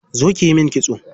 Zo kiyi min kitso.